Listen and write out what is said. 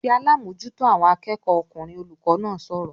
"Pe alábòójútó àwọn akẹ́kọ̀ọ́ ọkùnrin!" Olùkọ́ náà sọ̀rọ̀